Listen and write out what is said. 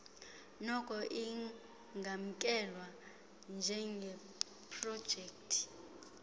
noko ingamkelwa njengeprojekthi